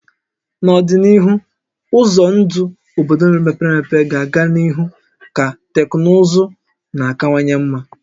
N'ọdịnihu, ụzọ ndụ obodo mepere emepe ga-aga n'ihu ka teknụzụ na-akawanye mma